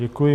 Děkuji.